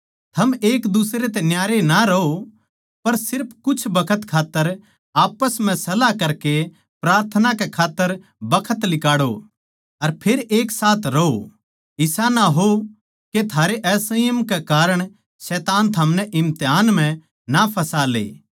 थम एकदुसरे तै न्यारे ना रहो पर सिर्फ कुछ बखत खात्तर आप्पस म्ह सलाह करकै प्रार्थना कै खात्तर बखत लिकाड़ै अर फेर एक साथ रहो इसा ना हो के थारे असंयम कै कारण शैतान थमनै इम्तिहान म्ह ना फँसा ले